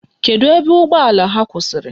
Kedu ebe ụgbọala ha kwụsịrị?